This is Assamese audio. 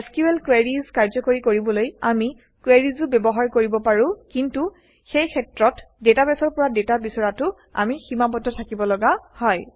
এছক্যুএল কুৱেৰিজ কাৰ্যকৰী কৰিবলৈ আমি কুৱেৰিজও ব্যৱহাৰ কৰিব পাৰোঁ কিন্তু সেই ক্ষেত্ৰত ডাটাবেছৰ পৰা ডাটা বিচৰাতে আমি সীমাবদ্ধ থাকিবলগা হয়